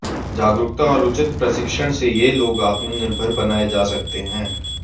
जागरूकता और उचित प्रशिक्षण से ये लोग आत्मनिर्भर बनाए जा सकते हैं